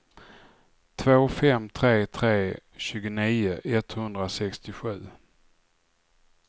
två fem tre tre tjugonio etthundrasextiosju